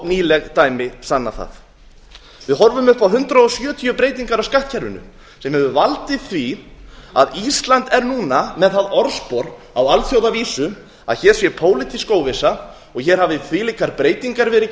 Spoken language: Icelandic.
nýleg dæmi sanna það við horfum upp á hundrað sjötíu breytingar á skattkerfinu sem hefur valdið því að ísland er núna með það orðspor á alþjóðavísu að hér sé pólitísk óvissa og hér hafi þvílíkar breytingar verið